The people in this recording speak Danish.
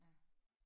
Ja